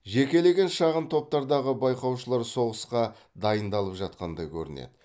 жекелеген шағын топтардағы байқаушылар соғысқа дайындалып жатқандай көрінеді